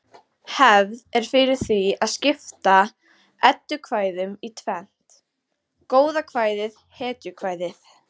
Hefð er fyrir því að skipta eddukvæðum í tvennt: goðakvæði hetjukvæði